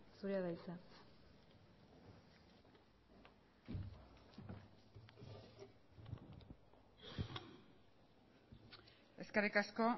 zurea da hitza eskerrik asko